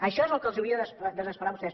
això és el que els hauria de desesperar a vostès